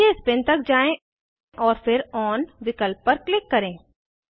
नीचे स्पिन तक जाएँ और फिर ओन विकल्प पर क्लिक करें